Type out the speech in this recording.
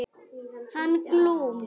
Hann Glúm.